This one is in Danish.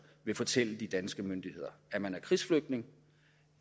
vil fortælle de danske myndigheder at man er krigsflygtning